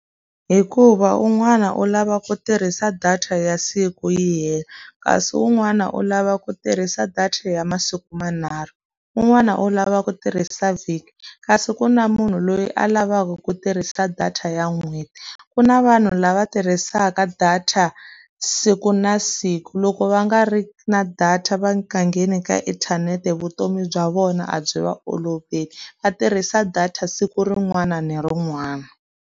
Hikuva un'wana u lava ku tirhisa data ya siku yi hela, kasi un'wana u lava ku tirhisa data ya masiku manharhu. Un'wana u lava ku tirhisa vhiki, kasi ku na munhu loyi a lavaka ku tirhisa data ya n'hweti. Ku na vanhu lava tirhisaka data siku na siku, loko va nga ri na data va nga ngheni ka inthanete vutomi bya vona byi va oloveli, va tirhisa data siku rin'wana ni rin'wana.